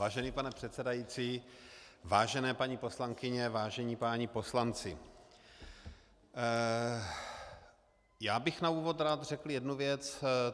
Vážený pane předsedající, vážené paní poslankyně, vážení páni poslanci, já bych na úvod rád řekl jednu věc.